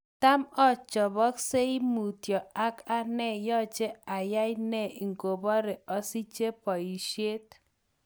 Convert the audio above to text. Tam ochopoksei mutyo ak anai yoche ayai ne ikobore osiche boishet.